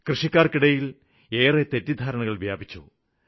കൃഷിക്കാര്ക്കിടയില് ഏറെ തെറ്റിദ്ധാരണകള് വ്യാപിച്ചു